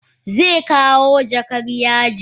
Zekawo jakar yajin.